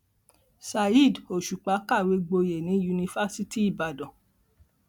saheed òṣùpá kàwé gboyè ní yunifásitì ìbàdàn